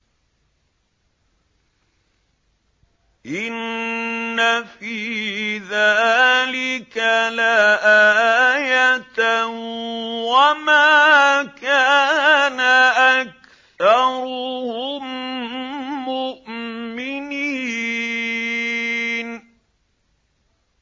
إِنَّ فِي ذَٰلِكَ لَآيَةً ۖ وَمَا كَانَ أَكْثَرُهُم مُّؤْمِنِينَ